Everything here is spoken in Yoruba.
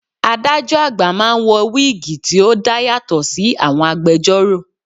Adájọ́ àgbà máa ń wọ wíìgì tí ó dá yàtọ̀ sí àwọn agbẹjórò.